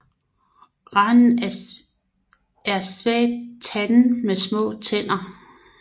Randen er svagt tandet med små tænder